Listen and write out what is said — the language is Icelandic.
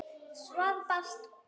Svar barst og verð fannst.